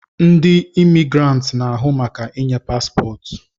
Ndi Imigiranti na-ahụ maka inye pasipotu